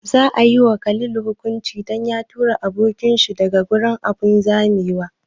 Za a yi wa Khalid hukunci dan ya tura abokin shi daga abun zamewa?